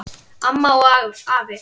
Amma og afi.